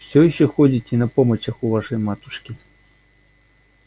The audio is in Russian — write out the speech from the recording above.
все ещё ходите на помочах у вашей матушки